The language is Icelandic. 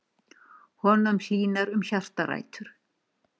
Honum hlýnar um hjartarætur.